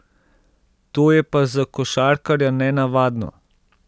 To je pa za košarkarja nenavadno.